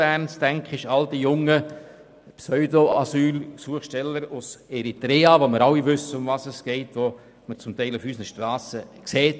Ich denke an all die jungen Pseudo-Asylantragsteller aus Eritrea, wobei wir alle wissen, worum es geht.